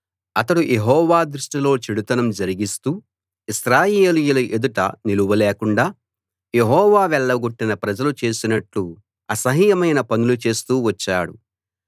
అతడు యెహోవా దృష్టిలో చెడుతనం జరిగిస్తూ ఇశ్రాయేలీయుల ఎదుట నిలవలేకుండా యెహోవా వెళ్లగొట్టిన ప్రజలు చేసినట్లు అసహ్యమైన పనులు చేస్తూ వచ్చాడు